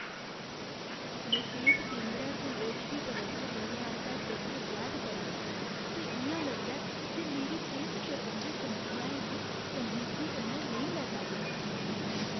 में सेह्त केंदरै च लोड़चदी तवज्जो मिलने आस्तै जद्दोजैह्द करा ना आं ते इ'यां लगदा ऐ जे मेरी सेह्त सरबंधी समस्याएं गी संजीदगी कन्नै नेईं लैता गेआ ऐ।